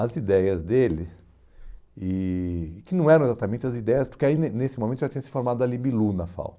as ideias dele, e que não eram exatamente as ideias, porque nes nese momento já tinha se formado a Libilu na FAU.